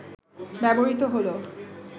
ব্যবহৃত হল